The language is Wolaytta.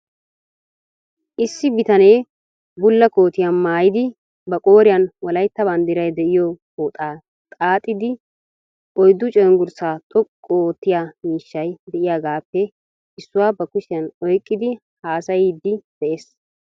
Issi bitanee bulla kootiyaa maayidi ba qooriyan wolayitta banddiray de"iyoo pooxaa xaaxidi oyddu cenggurssaa xoqqu oottiyaa miishshay de"iyaagaappe issuwa ba kushiyan oyqqidi haasayiiddi de'ees.